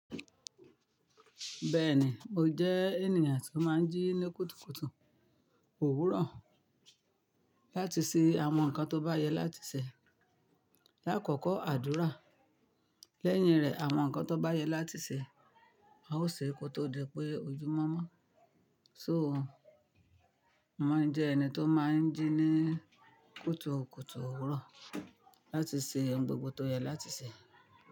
Bẹ́ẹ̀ni, mo jẹ́ ènìyàn tó máa ń jí ní kùtùkùtù òwúrọ̀ láti ṣe àwọn nǹkan tó bá yẹ láti ṣe. Láàkọ́kọ́ àdúrà, lẹ́yìn rẹ̀ àwọn nǹkan tó bá yẹ láti ṣe. A ó ṣe kó tó di pé ojú mọ́ mọ́. So, mo má ń jẹ́ ẹni tó máa ń jí ní kùtùkùtù òwúrọ̀ láti ṣe ohun gbogbo tó yẹ láti ṣe.